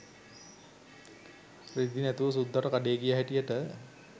රෙදි නැතුව සුද්දට කඩේ ගිය හැටියට